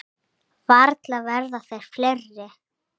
Varla verða þeir fleiri.